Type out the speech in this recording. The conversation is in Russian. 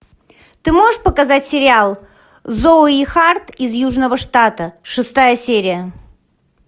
ты можешь показать сериал зои харт из южного штата шестая серия